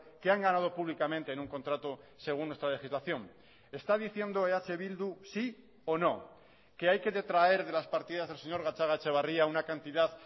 que han ganado públicamente en un contrato según nuestra legislación está diciendo eh bildu sí o no que hay que detraer de las partidas del señor gatzagaetxebarria una cantidad